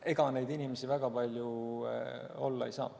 Ega neid inimesi väga palju olla ei saa.